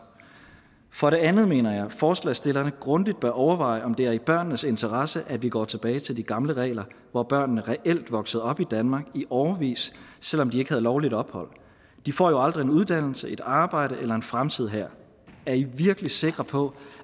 for det andet mener jeg at forslagsstillerne grundigt bør overveje om det er i børnenes interesse at vi går tilbage til de gamle regler hvor børnene reelt voksede op i danmark i årevis selv om de ikke havde lovligt ophold de får jo aldrig en uddannelse et arbejde eller en fremtid her er i virkelig sikre på